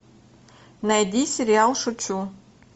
найди сериал шучу